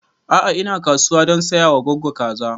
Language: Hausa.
A'a ina kasuwa don saya wa goggo kaza